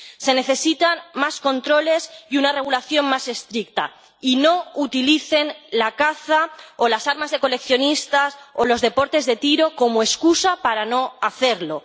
Se necesitan más controles y una regulación más estricta, y no utilicen la caza o las armas de coleccionistas o los deportes de tiro como excusa para no hacerlo.